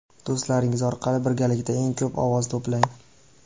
do‘stlaringiz orqali birgalikda eng ko‘p ovoz to‘plang.